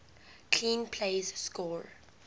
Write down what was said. clean plays score